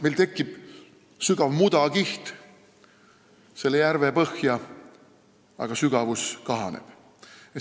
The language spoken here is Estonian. Meil tekib järve põhjas sügav mudakiht ja vee sügavus kahaneb.